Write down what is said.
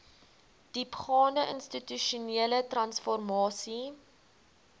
diepgaande institusionele transformasie